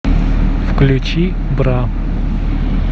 включи бра